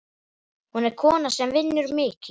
Hún er kona sem vinnur mikið.